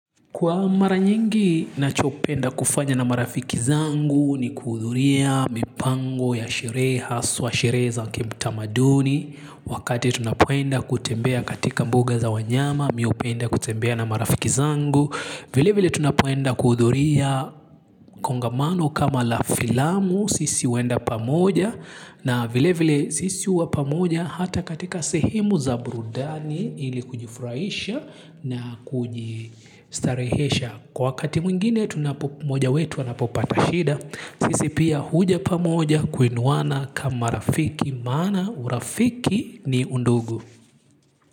Kwa mara nyingi nachopenda kufanya na marafiki zangu ni kuhudhuria mipango ya sherehe haswa sherehe za kitamaduni. Wakati tunapoenda kutembea katika mbuga za wanyama mi upenda kutembea na marafiki zangu. Vile vile tunapoenda kuhudhuria kongamano kama la filamu sisi uenda pamoja. Na vile vile sisi huwa pamoja hata katika sehemu za burudani ili kujifurahisha na kujistarehesha. Kwa wakati mwingine tunapo mmoja wetu anapopata shida. Sisi pia huja pamoja kuinuana kama rafiki maana urafiki ni undugu.